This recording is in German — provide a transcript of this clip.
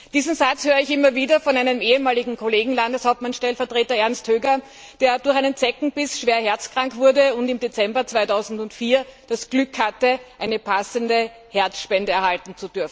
Diesen Satz höre ich immer wieder von einem ehemaligen Kollegen, Landeshauptmannstellvertreter Ernst Höger, der durch einen Zeckenbiss schwer herzkrank wurde und im Dezember 2004 das Glück hatte, eine passende Herzspende zu erhalten.